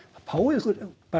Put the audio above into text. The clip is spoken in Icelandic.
fáið ykkur